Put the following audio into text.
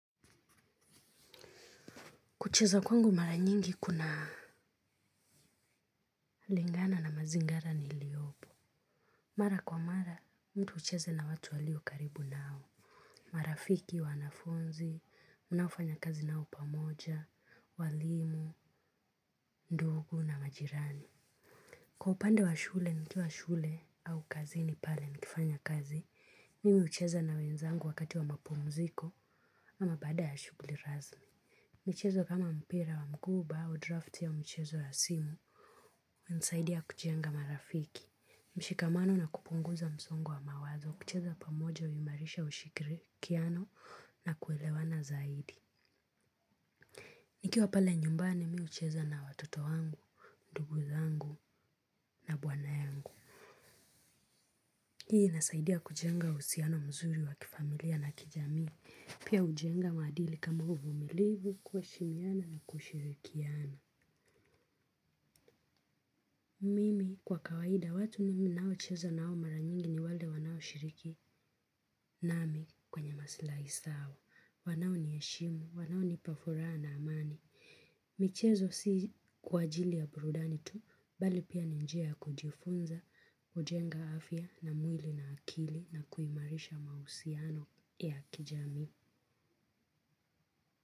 Kucheza kwangu mara nyingi kuna lingana na mazingara niliopo. Mara kwa mara, mtu ucheze na watu walio karibu nao. Marafiki, wanafunzi, mnaofanya kazi nao pamoja, walimu, ndugu na majirani. Kwa upande wa shule, nikuwa shule au kazini pale nikifanya kazi, mimi ucheza na wenzangu wakati wa mapumuziko ama bada ya shuguli rasmi. Mchezo kama mpira wa mguu ubaao draft ya mchezo ya simu, nsaidi ya kujenga marafiki, mshikamano na kupunguza msongu wa mawazo, kucheza pamoja uyumarisha ushirikiano na kuelewana zaidi. Nikiwa pale nyumbani mi ucheza na watoto wangu, ndugu zangu na bwana yangu. Hii inasaidia kujenga usiano mzuri wa kifamilia na kijami, pia ujenga maadili kama uvumilivu kueshimiana na kushirikiana. Mimi kwa kawaida watu nimi nao chezo nao maranyingi ni wale wanao shiriki nami kwenye masilahi sawa wanao nieshimu wanao nipa furaha na amani. Michezo si kwa ajili ya burudani tu, bali pia ni njia kujifunza ujenga afya na mwili na akili na kuimarisha mausiano ya kijamii.